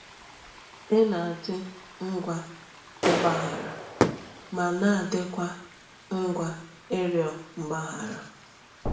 Ị na-adị ngwa ịgbaghara ma na-adịkwa ngwa ịrịọ mgbaghara.